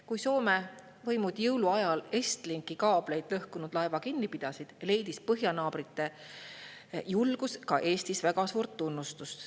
Kui Soome võimud jõuluajal Estlinki kaabli lõhkunud laeva kinni pidasid, leidis põhjanaabrite julgus ka Eestis väga suurt tunnustust.